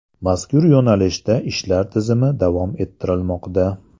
Mazkur yo‘nalishda ishlar tizimli davom ettirilmoqda.